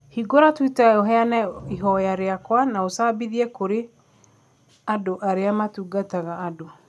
Hingũra twitter, ũheane ihoya rĩakwa na úcabithie kurĩ andũ arĩa matungataga andũ.